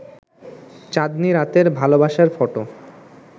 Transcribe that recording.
চাঁদনী রাতের ভালোবাসার ফটো